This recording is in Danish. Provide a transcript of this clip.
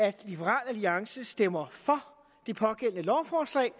at liberal alliance stemmer for det pågældende lovforslag